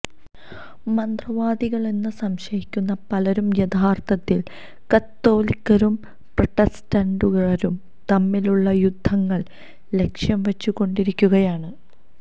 മന്ത്രവാദികളെന്ന് സംശയിക്കുന്ന പലരും യഥാർത്ഥത്തിൽ കത്തോലിക്കരും പ്രൊട്ടസ്റ്റന്റുകാരും തമ്മിലുളള യുദ്ധങ്ങളിൽ ലക്ഷ്യം വച്ചുകൊണ്ടിരിക്കുകയാണ്